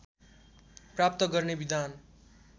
प्राप्त गर्ने विद्वान